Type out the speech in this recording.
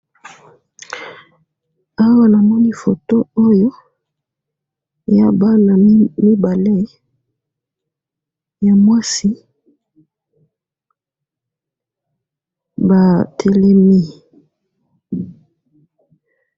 awa namoni photo oyo ya bana mibale ya mwasi batelemi